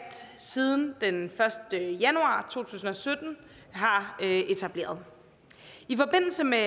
siden den første januar to tusind og sytten har etableret i forbindelse med